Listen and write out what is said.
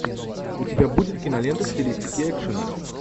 у тебя будет кинолента в стилистике экшена